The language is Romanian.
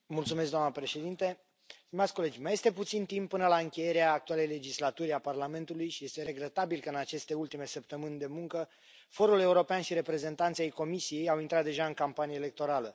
Doamnă președintă, stimați colegi, mai este puțin timp până la încheierea actualei legislaturi a Parlamentului și este regretabil că, în aceste ultime săptămâni de muncă, forul european și reprezentanți ai Comisiei au intrat deja în campanie electorală.